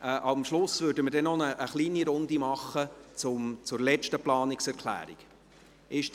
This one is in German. Am Schluss würden wir also noch eine kleine Runde zur letzten Planungserklärung machen.